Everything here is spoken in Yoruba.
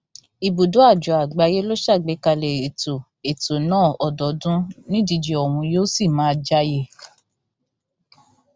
ibùdó àjọ àgbáyé ló ṣàgbékalẹ ètò ètò náà ọdọọdún nídíje ọhún yóò sì máa jẹàyè